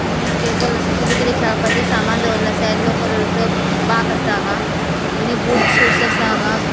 एक टेबल असा किते किते खेळपाचे सामान दवरले असा येल्लो कलरचो बाक असा हांगा आणि बूट शूज असा हांगा.